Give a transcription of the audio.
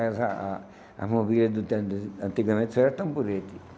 As a a a mobílias do tempo, de antigamente, isso era tamborete.